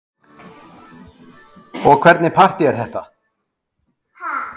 Jón Örn: Og hvernig partý er þetta?